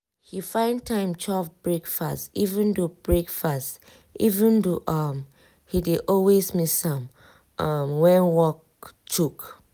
he find time chop breakfast even though breakfast even though um he dey always miss am um when um work choke.